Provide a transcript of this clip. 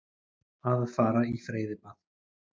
Að fara í freyðibað.